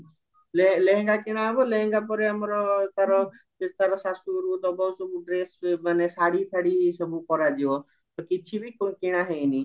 ଲେହେଙ୍ଗା କିଣା ହବ ଲେହେଙ୍ଗା ପରେ ଆମର ତାର ଯଦି ତାର ଶାଶୁ ଘରକୁ ଦବ ସବୁ ଡ୍ରେସ ମାନେ ଶାଢୀ ଫାଡୀ ସବୁ କରାଯିବ ତ କିଛିବି କିଣା ହେଇନି